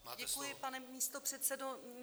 Děkuji, pane místopředsedo.